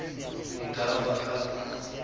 e ka ha ba ka